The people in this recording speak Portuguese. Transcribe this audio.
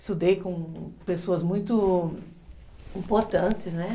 Estudei com pessoas muito importantes, né?